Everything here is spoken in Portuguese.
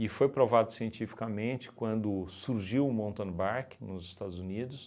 foi provado cientificamente quando surgiu o mountain bike nos Estados Unidos